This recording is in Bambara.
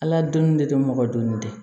Ala donni de tɛ mɔgɔ dɔnni tɛ